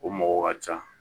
O mɔgɔ ka ca